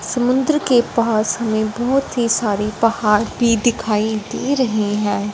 समुन्दर के पास मे बाहोत ही सारी पहाड़ भी दिखाई दे रही हैं।